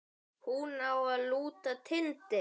Hún á að lúta Tindi.